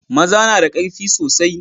maza nada karfi soasi